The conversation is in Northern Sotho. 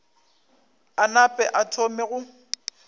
a nape a thome go